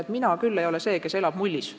Et mina ei ole küll see, kes elab mullis.